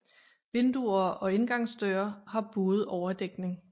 Vinduer og indgangsdøre har buet overdækning